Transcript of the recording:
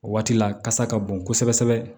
O waati la kasa ka bon kosɛbɛ kosɛbɛ